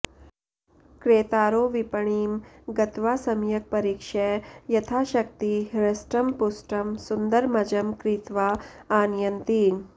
क्रेतारो विपणिं गत्वा सम्यक् परीक्ष्य यथाशक्ति हृष्टं पुष्टं सुन्दरमजं क्रीत्वा आनयन्ति